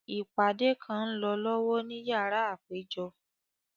Ipade kan ń lọ lọwọ ni yara apejọ.